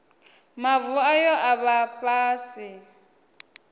mavu ayo a vha fhasi